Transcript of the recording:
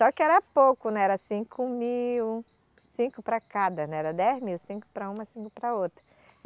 Só que era pouco, né, era cinco mil, cinco para cada, né, era dez mil, cinco para uma, cinco para a outra.